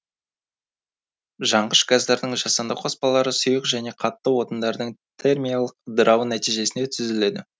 жанғыш газдардың жасанды қоспалары сұйық және қатты отындардың термиялық ыдырауы нәтижесінде түзіледі